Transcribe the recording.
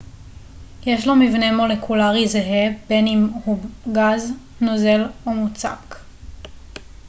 יש לו מבנה מולקולרי זהה בין אם הוא גז נוזל או מוצק